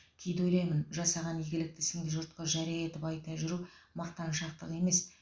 кейде ойлаймын жасаған игілікті ісіңді жұртқа жария етіп айта жүру мақтаншақтық емес